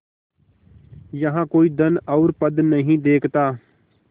यहाँ कोई धन और पद नहीं देखता